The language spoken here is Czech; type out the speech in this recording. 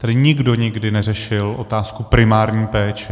Tady nikdo nikdy neřešil otázku primární péče.